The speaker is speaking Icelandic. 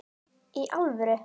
Í alvöru!?